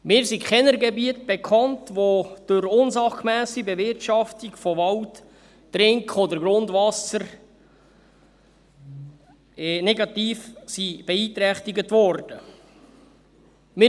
Mir sind keine Gebiete bekannt, in denen Trink- oder Grundwasser durch unsachgemässe Bewirtschaftung von Wald negativ beeinträchtigt worden wäre.